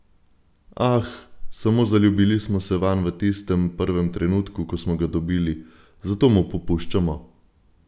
Ah, samo zaljubili smo se vanj v tistem prvem trenutku, ko smo ga dobili, zato mu popuščamo!